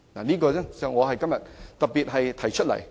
這是我今天要特別提出來的建議。